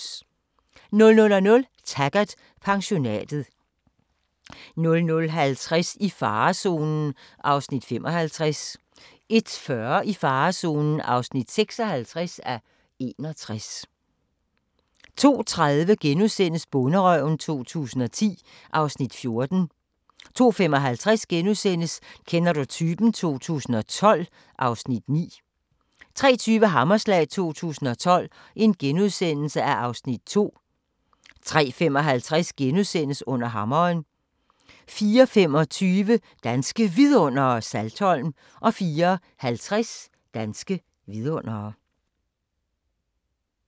00:00: Taggart: Pensionatet 00:50: I farezonen (55:61) 01:40: I farezonen (56:61) 02:30: Bonderøven 2010 (Afs. 14)* 02:55: Kender du typen? 2012 (Afs. 9)* 03:20: Hammerslag 2012 (Afs. 2)* 03:55: Under hammeren * 04:25: Danske Vidundere: Saltholm 04:50: Danske vidundere